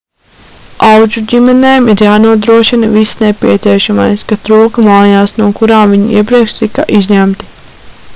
audžuģimenēm ir jānodrošina viss nepieciešamais kas trūka mājās no kurām viņi iepriekš tika izņemti